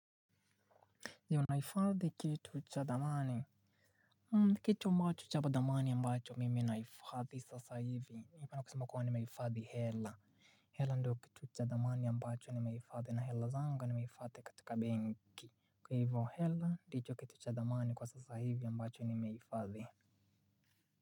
Ndio naifadhi kitu cha thamani. Kitu ambacho cha ba thamani ambacho mimi naifadhi sasa hivi. Ningependa kusema kuwa nimeifadhi hela. Hela ndo kitu cha thamani ambacho nimeifadhi. Na hela zanga nimeifadhi katika benki. Kwa ivo hela, ndicho kitu cha thamani kwa sasa hivi ambacho nimeifadhi.